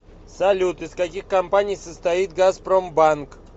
салют из каких компаний состоит газпромбанк